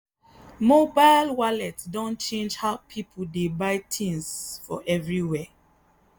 mobile wallet don change how people dey buy things for everywhere.